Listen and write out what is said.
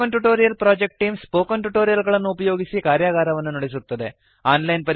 spoken tutorial project team spoken tutorial ಗಳನ್ನು ಉಪಯೋಗಿಸಿ ಕಾರ್ಯಗಾರವನ್ನು ನಡೆಸುತ್ತದೆ